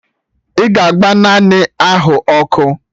Ị ga-agba naanụ ahụ ọkụ!